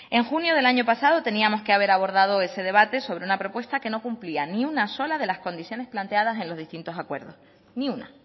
en junio del año pasado teníamos que haber abordado ese debate sobre una propuesta que no cumplía ni una sola de las condiciones planteadas en los distintos acuerdos ni una